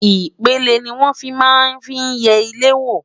ipele ní wọn fí má n fí yé ilé wo